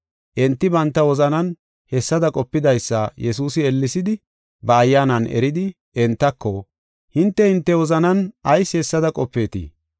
Enti banta wozanan hessada qopidaysa Yesuusi ellesidi ba ayyaanan eridi, entako, “Hinte hinte wozanan ayis hessada qopeetii?